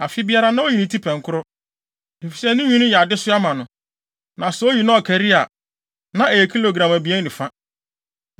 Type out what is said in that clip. Afe biara, na oyi ne ti pɛnkoro, efisɛ ne nwi no yɛ adesoa ma no. Na sɛ oyi na ɔkari a, na ɛyɛ kilogram abien ne fa.